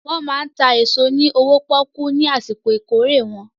Wọ́n máa ń ta èso ní owó pọ́ọ́kú ní àsìkò ìkórè wọn.